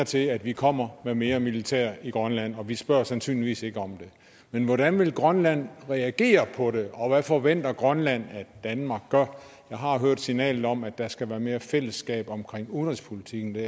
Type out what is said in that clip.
til at vi kommer med mere militær i grønland og vi spørger sandsynligvis ikke om det men hvordan vil grønland reagere på det og hvad forventer grønland at danmark gør jeg har hørt signalet om at der skal være mere fællesskab omkring udenrigspolitikken det